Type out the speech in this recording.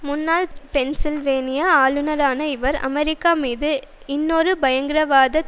முன்னாள் பென்சில்வேனிய ஆளுனரான இவர் அமெரிக்கா மீது இன்னுமொரு பயங்கரவாதத்